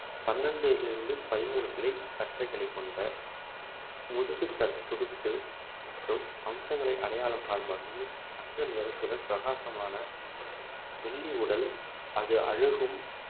பன்னிரெண்டில் இருந்து பதிமூணு கிளை கற்றைகளைக் கொண்ட முதுகு தட்~ துடுப்பு மற்றும் அம்சங்களை அடையாளம் காணும் வகையில் தங்க நிறத்துடன் பிரகாசமான வெள்ளி உடல் அது அழகும்